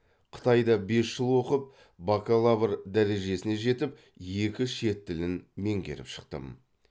қытайда бес жыл оқып бакалавр дәрежесіне жетіп екі шет тілін меңгеріп шықтым